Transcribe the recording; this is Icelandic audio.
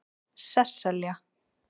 Sesselja